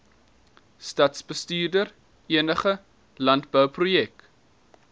stadsbestuurder enige landbouproduk